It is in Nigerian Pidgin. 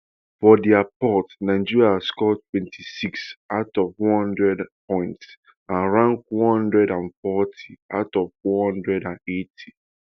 for direport nigeria score twenty-six out of one hundred points and rank one hundred and forty out of one hundred and eighty